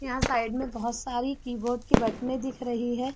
यहाँ साइड में बहुत सारी कीबोर्ड की बटने दिख रही है।